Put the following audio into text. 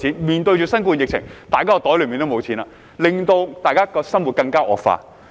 面對新冠肺炎疫情，大家的口袋也沒有錢了，結果大家的生活更加差。